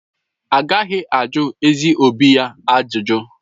Agaghị ajụ ezi obi ya ajụjụ.